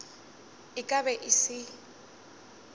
e ka be e se